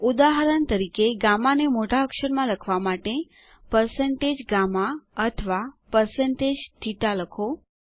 ઉદાહરણ તરીકે ગામા ને મોટા અક્ષર માં લખવા માટે160GAMMA અથવા160 થેટા લખો